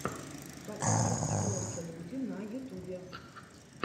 подкаст просто люди на ютубе